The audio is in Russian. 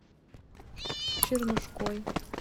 чернушкой